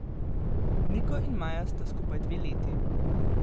Niko in Maja sta skupaj dve leti.